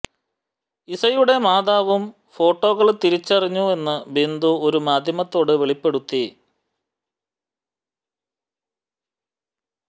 ഇസയുടെ മാതാവും ഫോട്ടോകള് തിരിച്ചറിഞ്ഞുവെന്ന് ബിന്ദു ഒരു മാധ്യമത്തോട് വെളിപ്പെടുത്തി